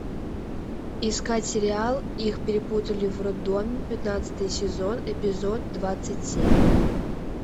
искать сериал их перепутали в роддоме пятнадцатый сезон эпизод двадцать семь